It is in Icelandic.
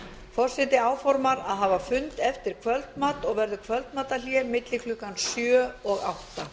forseti áformar að hafa fund eftir kvöldmat og verður kvöldmatarhlé milli klukkan sjö og átta